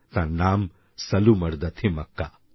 তাঁর নাম সালুমরদা থিমক্কা